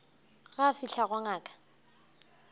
ge a fihla go ngaka